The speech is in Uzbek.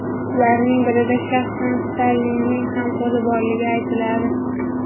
Ularning birida shaxsan Stalinning ham qo‘li borligi aytiladi.